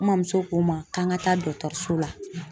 N mamuso ko ma, k'an ka taa dɔgɔtɔrɔso la.